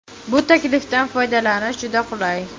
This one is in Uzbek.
Bu taklifdan foydalanish juda qulay!